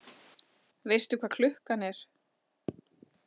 Veistu hvað klukkan er?